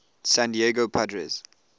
san diego padres